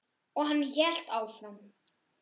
Og hann hélt áfram.